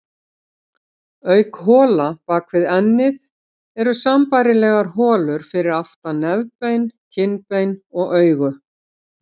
Auk hola bak við ennið eru sambærilegar holur fyrir aftan nefbein, kinnbein og augu.